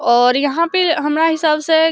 और यहाँ पे हमरा हिसाब से --